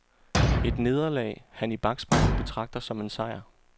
Et nederlag, han i bakspejlet betragter som en sejr.